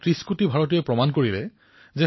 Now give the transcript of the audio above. দেশত শান্তি একতা আৰু সদভাৱনা মূল্য সৰ্বোপৰি